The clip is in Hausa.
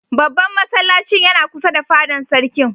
Babban masallacin yana kusa da fadan Sarkin.